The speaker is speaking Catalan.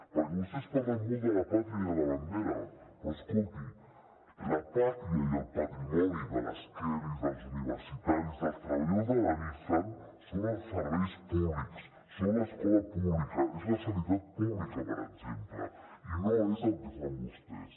perquè vostès parlen molt de la pàtria i la bandera però escolti la pàtria i el patrimoni de les kellys dels universitaris dels treballadors de la nissan són els serveis públics són l’escola pública és la sanitat pública per exemple i no és el que fan vostès